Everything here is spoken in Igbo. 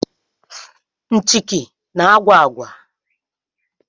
Nchịkị na-agwa agwa